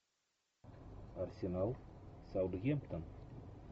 арсенал саутгемптон